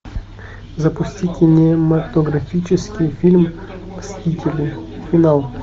запусти кинематографический фильм мстители финал